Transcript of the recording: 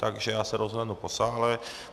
Takže já se rozhlédnu po sále...